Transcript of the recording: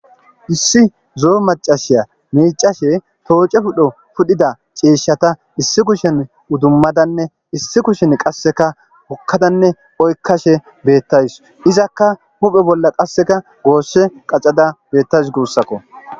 issi zo7o macashiya miicashe tooce pudho pudhida ciishshata issi kushen udummadanne issi kushen qasseka hokkadanne oykkashe beettays izakka muphe bolla qasseka goosse qacada beettays guussakko